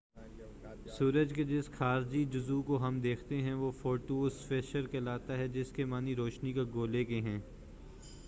سورج کے جس خارجی جزو کو ہم دیکھتے ہیں وہ فوٹو اسفیئر کہلاتا ہے جس کے معنی روشنی کا گولہ کے ہیں